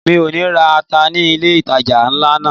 Mi ò ní ra ata ní ilé ìtajà ńlá náà.